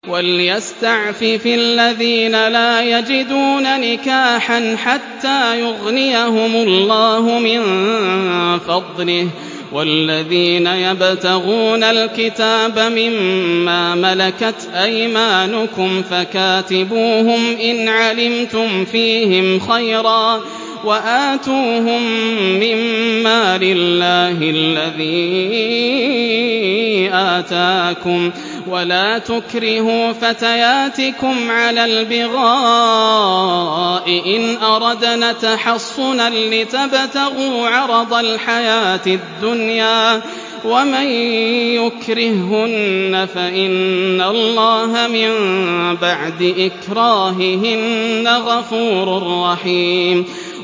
وَلْيَسْتَعْفِفِ الَّذِينَ لَا يَجِدُونَ نِكَاحًا حَتَّىٰ يُغْنِيَهُمُ اللَّهُ مِن فَضْلِهِ ۗ وَالَّذِينَ يَبْتَغُونَ الْكِتَابَ مِمَّا مَلَكَتْ أَيْمَانُكُمْ فَكَاتِبُوهُمْ إِنْ عَلِمْتُمْ فِيهِمْ خَيْرًا ۖ وَآتُوهُم مِّن مَّالِ اللَّهِ الَّذِي آتَاكُمْ ۚ وَلَا تُكْرِهُوا فَتَيَاتِكُمْ عَلَى الْبِغَاءِ إِنْ أَرَدْنَ تَحَصُّنًا لِّتَبْتَغُوا عَرَضَ الْحَيَاةِ الدُّنْيَا ۚ وَمَن يُكْرِههُّنَّ فَإِنَّ اللَّهَ مِن بَعْدِ إِكْرَاهِهِنَّ غَفُورٌ رَّحِيمٌ